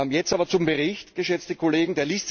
Jetzt aber zum Bericht, geschätzte Kollegen.